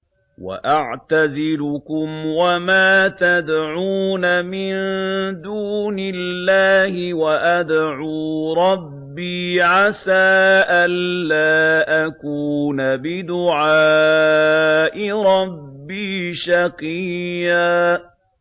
وَأَعْتَزِلُكُمْ وَمَا تَدْعُونَ مِن دُونِ اللَّهِ وَأَدْعُو رَبِّي عَسَىٰ أَلَّا أَكُونَ بِدُعَاءِ رَبِّي شَقِيًّا